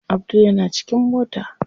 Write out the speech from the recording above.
Abdul yana cikin mota.